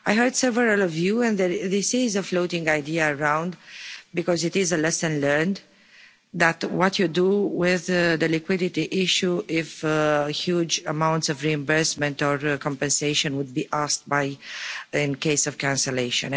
I heard several of you and this is a floating idea going around because it is a lesson learned, that what you do with the liquidity issue if a huge amount of reimbursement or compensation would be asked for in case of cancellation.